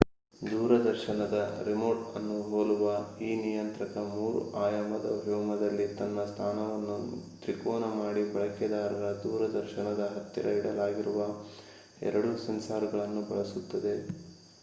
ದೂರದರ್ಶನದ ರಿಮೋಟ್ ಅನ್ನು ಹೋಲುವ ಈ ನಿಯಂತ್ರಕ 3 ಆಯಾಮದ ವ್ಯೋಮದಲ್ಲಿ ತನ್ನ ಸ್ಥಾನವನ್ನು ತ್ರಿಕೋನ ಮಾಡಿ ಬಳಕೆದಾರರ ದೂರದರ್ಶನದ ಹತ್ತಿರ ಇಡಲಾಗಿರುವ 2 ಸೆನ್ಸಾರ್ ಗಳನ್ನು ಬಳಸುತ್ತದೆ